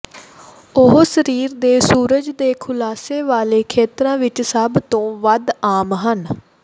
ਉਹ ਸਰੀਰ ਦੇ ਸੂਰਜ ਦੇ ਖੁਲਾਸੇ ਵਾਲੇ ਖੇਤਰਾਂ ਵਿੱਚ ਸਭ ਤੋਂ ਵੱਧ ਆਮ ਹਨ